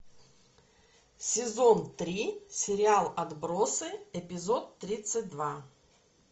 сезон три сериал отбросы эпизод тридцать два